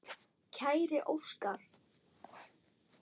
Kæri Óskar.